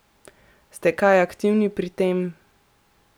Ste kaj aktivni pri tem?